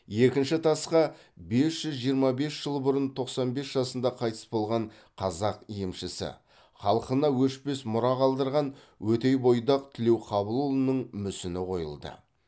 екінші тасқа бес жүз жиырма бес жыл бұрын тоқсан бес жасында қайтыс болған қазақ емшісі халқына өшпес мұра қалдырған өтейбойдақ тілеуқабылұлының мүсіні қойылды